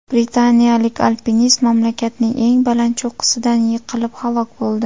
Britaniyalik alpinist mamlakatning eng baland cho‘qqisidan yiqilib halok bo‘ldi.